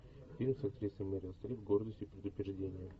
фильм с актрисой мерил стрип гордость и предубеждение